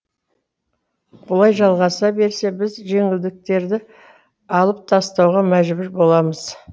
бұлай жалғаса берсе біз жеңілдіктерді алып тастауға мәжбүр боламыз